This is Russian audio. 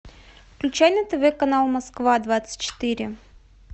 включай на тв канал москва двадцать четыре